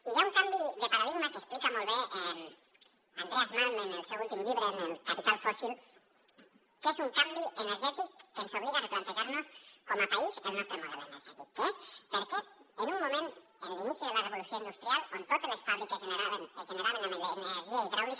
i hi ha un canvi de paradigma que explica molt bé andreas malm en el seu últim llibre en el capital fósilés un canvi energètic que ens obliga a replantejar nos com a país el nostre model energètic que és per què en un moment en l’inici de la revolució industrial on totes les fàbriques es generaven amb energia hidràulica